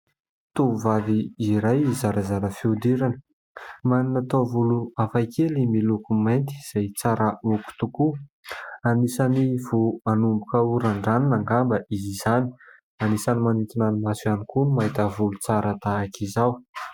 Tovovavy iray zarazara fihodirana ; manana taovolo hafa kely miloko mainty izay tsara hogo tokoa ; anisan'ny vao hanomboka ho randraniny angamba izy izany ; anisan'ny manintona ny maso ihany koa ny mahita volo tsara tahaka izao.